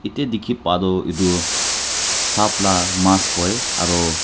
eta dikey pai toh etu sap la ka mas koi aro.